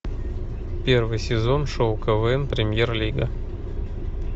первый сезон шоу квн премьер лига